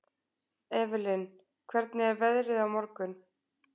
Evelyn, hvernig er veðrið á morgun?